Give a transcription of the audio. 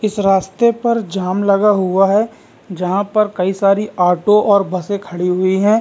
इस रास्ते पर जाम लगा हुआ है जहाँ पर कई सारी ऑटो और बसे खड़ी हुई है ।